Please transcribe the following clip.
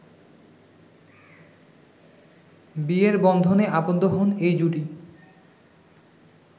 বিয়ের বন্ধনে আবদ্ধ হন এই জুটি